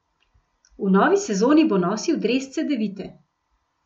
V novi sezoni bo nosil dres Cedevite.